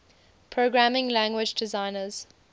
programming language designers